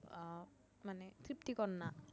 আহ মানে তৃপ্তিকর না